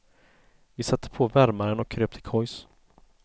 Vi satte på värmaren och kröp till kojs.